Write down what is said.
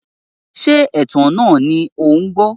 Ṣé ìtàn náà ni ò ń gbọ́?